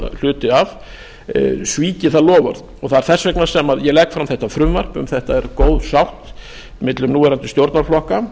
hluti af svíki það loforð það er þess vegna sem ég legg fram þetta frumvarp um þetta er góð sátt milli núverandi stjórnarflokka